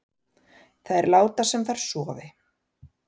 Þær láta sem þær sofi